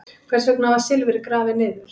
Hvers vegna var silfrið grafið niður?